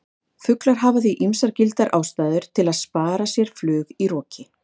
Fuglar hafa því ýmsar gildar ástæður til að spara sér flug í roki!